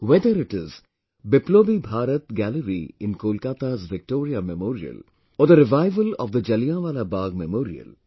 Whether it is Biplobi Bharat Gallery in Kolkata's Victoria Memorial or the revival of the Jallianwala Bagh Memorial